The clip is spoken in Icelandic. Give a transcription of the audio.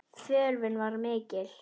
Þörfin var mikil.